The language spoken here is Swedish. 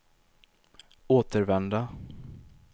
återvända